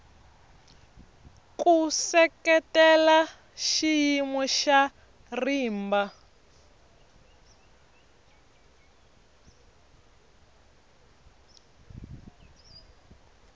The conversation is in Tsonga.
ku seketela xiyimo xa rimba